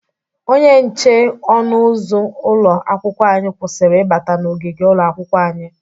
Onye nche ọnụ ụzụ ụlọ akwụkwọ anyị kwụsịrị ịbata na ogigi ụlọakwụkwọ anyị.